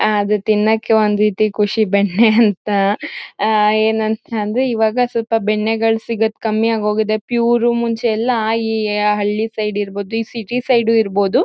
ಆ ಅದು ತಿನ್ನಕೆ ಒಂದು ರೀತಿ ಖುಷಿ ಬೆಣ್ಣೆ ಅಂತ. ಆ ಏನಂತಂದ್ರೆ ಇವಾಗ ಸ್ವಲ್ಪ ಬೆಣ್ಣೆಗಳು ಸಿಗೋದು ಕಮ್ಮಿ ಆಗೋಗಿದೆ ಪ್ಯೂರ್ ಮುಂಚೆ ಎಲ್ಲ ಈ ಹಳ್ಳಿ ಸೈಡ್ ಇರಬಹುದು ಈ ಸಿಟಿ ಸೈಡ್ ಇರಬಹುದು.